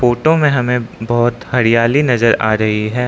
Photo में हमें बहोत हरियाली नजर आ रही है।